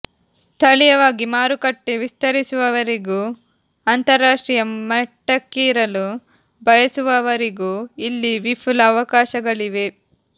ಸ್ಥಳೀಯವಾಗಿ ಮಾರುಕಟ್ಟೆ ವಿಸ್ತರಿಸುವವರಿಗೂ ಅಂತರರಾಷ್ಟ್ರೀಯ ಮಟ್ಟಕ್ಕೇರಲು ಬಯಸುವವರಿಗೂ ಇಲ್ಲಿ ವಿಪುಲ ಅವಕಾಶಗಳಿವೆ